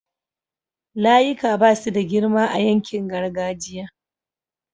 layika Basu da girma a yankin gargajiya